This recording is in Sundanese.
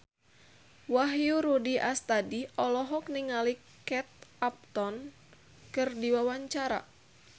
Wahyu Rudi Astadi olohok ningali Kate Upton keur diwawancara